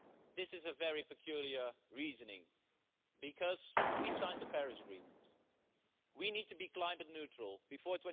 This is a very peculiar reasoning, because we signed the Paris Agreement and we need to be climate neutral before